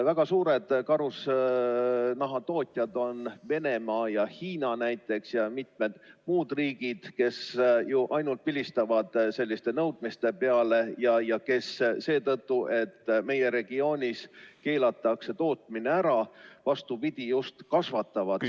Väga suured karusnahatootjad on näiteks Venemaa, Hiina ja mitmed muud riigid, kes ainult vilistavad selliste nõudmiste peale ja kes seetõttu, et meie regioonis keelatakse tootmine ära, vastupidi, just kasvatavad seda.